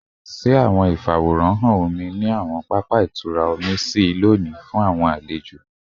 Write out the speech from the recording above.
Ṣe awọn ifaworanhan omi ni awọn papa itura omi ṣii loni fun awọn alejo?